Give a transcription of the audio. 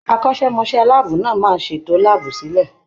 Akọ́ṣẹ́mọṣẹ́ láàbù náà máa ṣètò láàbù sílẹ̀.